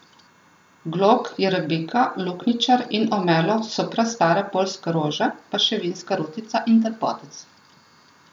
Glog, jerebika, luknjičar in omelo so prastare poljske rože, pa še vinska rutica in trpotec.